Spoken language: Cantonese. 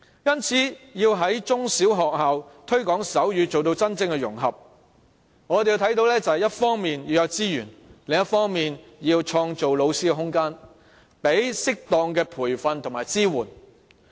因此，要在中小學校推廣手語，做到真正融合，我們認為一方面要有資源；另一方面要為老師創造空間，提供適當的培訓和支援。